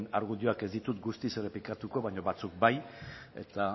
argudioak ez ditut guztiz errepikatuko baina batzuk bai eta